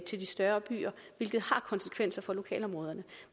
større byer hvilket har konsekvenser for lokalområderne